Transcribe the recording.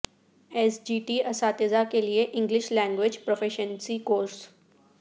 S G T اساتذہ کے لیے انگلش لینگویج پروفیشینسی کورس